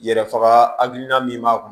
Yɛrɛ faga hakilina min b'a kun